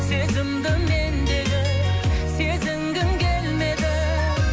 сезімді мендегі сезінгің келмеді